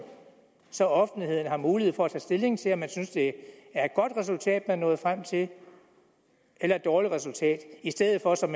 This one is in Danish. så offentligheden har mulighed for at tage stilling til om man synes det er et godt resultat er nået frem til eller et dårligt resultat i stedet for som